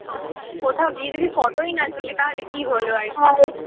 কোথাও গিয়ে যদি photo ই না তুলি তাহলে কি হলো আর